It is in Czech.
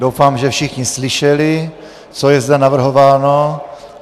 Doufám, že všichni slyšeli, co je zde navrhováno.